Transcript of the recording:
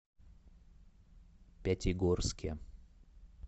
пятигорске